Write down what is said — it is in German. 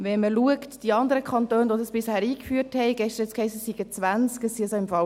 Wenn man bei den anderen Kantonen schaut, welche dies bereits eingeführt haben – gestern hiess es, es seien 20;